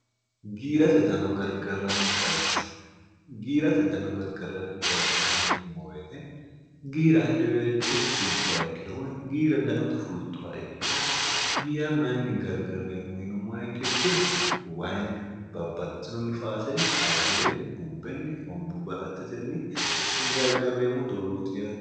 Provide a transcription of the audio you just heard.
giigchgiirate dano gargarranni bayicho yinimmooweete giira hedeweelcho fultuwa ikkiro woy giira danote fultuwa ikkiro giyya mayinni gargarreemmu yinum moekkekkiro wayinni babbatinonnifaasenni ayyirenni bubbenni hombu balattetenni gargarreemmo doogooti yate